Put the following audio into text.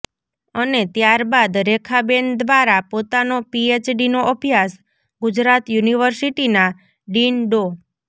અને ત્યારબાદ રેખાબેન દ્વારા પોતાનો પીએચડીનો અભ્યાસ ગુજરાત યુનિર્વસીટીના ડીન ડો